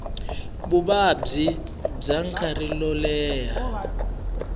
vuvabyi bya nkarhi wo leha